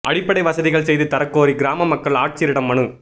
அடிப்படை வசதிகள் செய்து தரக் கோரி கிராம மக்கள் ஆட்சியரிடம் மனு